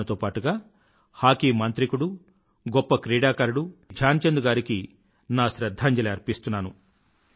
దానితో పాటుగా హాకీ మాంత్రికుడు గొప్ప క్రీడాకారుడు శ్రీ ధ్యాన్ చంద్ గారికి నా శ్రధ్ధాంజలి అర్పిస్తున్నాను